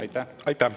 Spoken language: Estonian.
Aitäh!